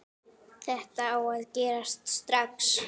Þetta á að gerast strax.